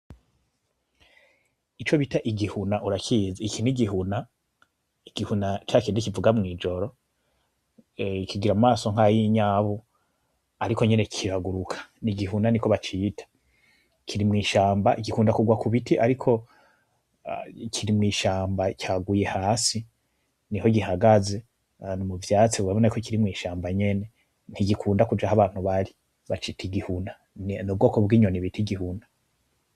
Icobita igihuna urakizi? Iki n'igihuna, igihuna cakindi kivuga mw'ijoro, kigira amaso nk'ayinyabu ariko nyene kiraguruka, n'igihuna niko bacita, kiri mw'ishamba gikunda kugwa ku biti, ariko kiri mw'ishamba caguye hasi niho gihagaze ahantu mu vyatsi urabona ko kiri mw'ishamba nyene, ntigikunda kuja ah'abantu bari, bacita igihuna, n'ubwoko bw'inyoni bit' igihuna.